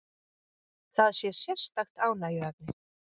Það sé sérstakt ánægjuefni